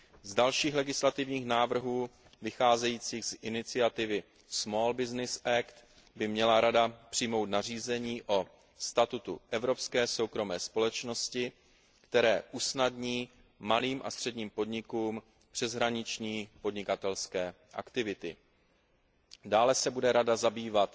Z dalších legislativních návrhů vycházejících z iniciativy Small Business Act by měla Rada přijmout nařízení o statutu evropské soukromé společnosti, které usnadní malým a středním podnikům přeshraniční podnikatelské aktivity. Dále se bude Rada zabývat